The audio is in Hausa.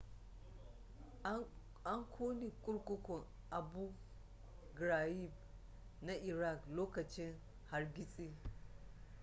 an kone kurkukun abu ghraib na iraq lokacin hargitsi